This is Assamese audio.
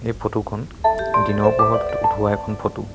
এই ফটো খন দিনৰ পোহৰত উঠুৱা এখন ফটো ।